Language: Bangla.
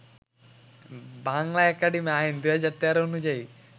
বাংলা একাডেমি আইন ২০১৩ অনুযায়ী